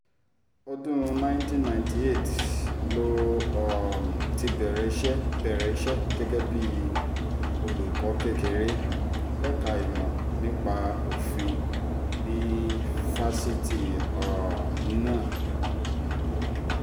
ọdún nineteen ninety eight ló um ti bẹ̀rẹ̀ iṣẹ́ bẹ̀rẹ̀ iṣẹ́ gẹ́gẹ́ bíi olùkọ́ kékeré lẹ́ka ìmọ̀ nípa òfin ní fásitì um náà